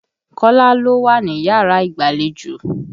Kọ́lá ló wá níyàrá ìgbàlejò.